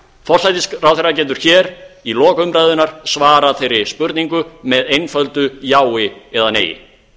forsætisráðherra getur hér í lok umræðunnar svarað þeirri spurningu með einföldu jái eða neii